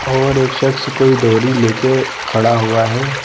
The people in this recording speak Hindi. और एक शख्स कोई डोरी लेकर खड़ा हुआ हैं ।